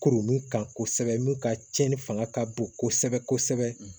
Kurun kan kosɛbɛ mun ka cɛnni fanga ka bon kosɛbɛ kosɛbɛ